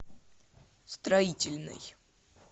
строительный